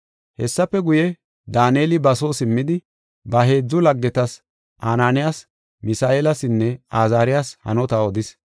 Hessafe guye Daaneli ba soo simmidi, ba heedzu laggetas, Anaaniyas, Misa7eelasinne Azaariyasi hanota odis.